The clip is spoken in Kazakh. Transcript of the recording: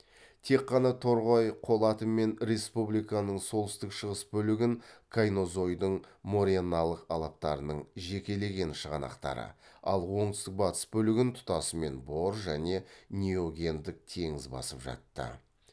тек қана торғай қолаты мен республиканың солтүстік шығыс бөлігін кайнозойдың мореналық алаптарының жекелеген шығанақтары ал оңтүстік батыс бөлігін тұтасымен бор және неогендік теңіз басып жатты